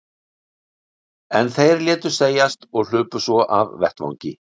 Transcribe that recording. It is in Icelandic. En þeir létu segjast og hlupu svo af vettvangi.